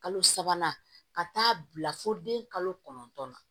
Kalo sabanan ka taa bila fo den kalo kɔnɔntɔn na